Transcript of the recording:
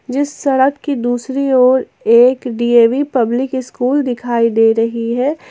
जिस सड़क की दूसरी ओर एक डी_ए_वी पब्लिक स्कूल दिखाई दे रही है।